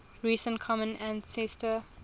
recent common ancestor